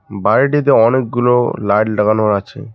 বাড়িটিতে অনেকগুলো লাইট লাগানো আছে।